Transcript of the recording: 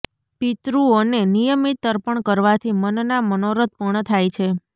પિતૃઓને નિયમિત તર્પણ કરવાથી મનના મનોરથ પૂર્ણ થાય છે